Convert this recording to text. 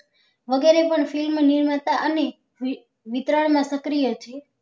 વગરે પણ film નિર્માતા અને વિક વિકરાળ ના સક્રિય છીએ